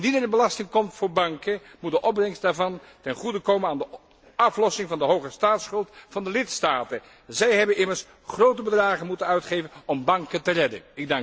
Indien er een belasting komt voor banken, moet de opbrengst daarvan ten goede komen aan de aflossing van de hoge staatsschuld van de lidstaten. Zij hebben immers grote bedragen moeten uitgeven om banken te redden.